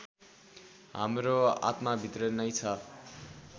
हाम्रो आत्माभित्र नै छ